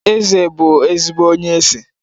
Eze bụ ezigbo onye ese